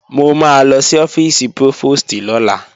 Mo máa lọ sí ọ́fíìsì prófòstì lọ́la